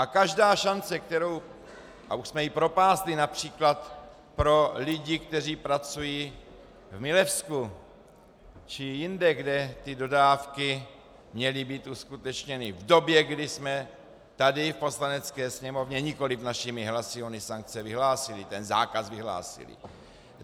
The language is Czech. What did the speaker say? A každá šance, kterou - a už jsme ji propásli například pro lidi, kteří pracují v Milevsku či jinde, kde ty dodávky měly být uskutečněny v době, kdy jsme tady v Poslanecké sněmovně nikoliv našimi hlasy ony sankce vyhlásili, ten zákaz vyhlásili.